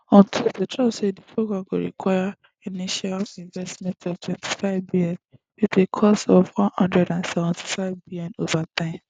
on tuesday trump say di programme go require initial investment of twenty-fivebn wit a total cost of one hundred and seventy-fivebn ova time